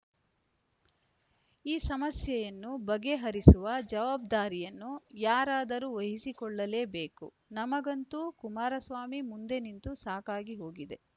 ಈ ಸಮಸ್ಯೆಯನ್ನು ಬಗೆಹರಿಸುವ ಜವಾಬ್ದಾರಿಯನ್ನು ಯಾರಾದರೂ ವಹಿಸಿಕೊಳ್ಳಲೇಬೇಕು ನಮಗಂತೂ ಕುಮಾರಸ್ವಾಮಿ ಮುಂದೆ ನಿಂತು ಸಾಕಾಗಿ ಹೋಗಿದೆ